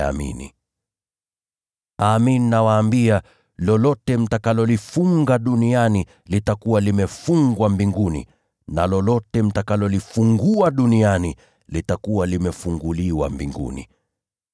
“Amin, nawaambia, lolote mtakalolifunga duniani litakuwa limefungwa mbinguni, na lolote mtakalolifungua duniani litakuwa limefunguliwa mbinguni.